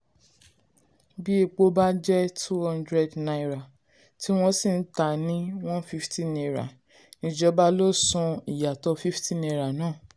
bí epo bá jẹ́ two hundred naira tí wọ́n sì tà á ní one fifty naira ìjọba ló san ìyàtọ̀ fifty naira náà.